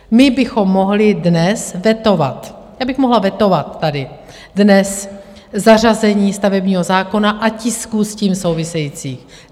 My bychom mohli dnes vetovat, já bych mohla vetovat tady dnes zařazení stavebního zákona a tisku s tím souvisejícího.